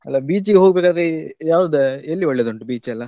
ಅಲ್ಲ beach ಗೆ ಹೋಗ್ಬೇಕಾದ್ರೆ ಯಾವ್ದು ಎಲ್ಲಿ ಒಳ್ಳೆದುಂಟು beach ಎಲ್ಲಾ?